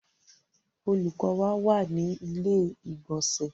Olùkọ́ wa wà ní ilé ìgbònsẹ̀